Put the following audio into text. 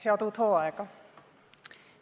Head uut hooaega!